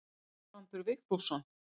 Guðbrandur Vigfússon.